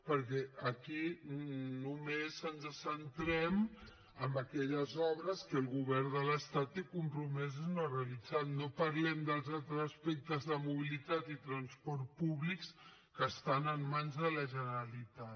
perquè aquí només ens centrem en aquelles obres que el govern de l’estat té compromeses i no ha realitzat no parlem dels altres aspectes de mobilitat i transport públic que estan en mans de la generalitat